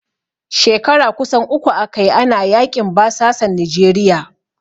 Shekara kusan uku aka yi, ana yaƙin basasan Nijeriya.